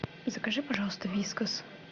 закажи пожалуйста вискас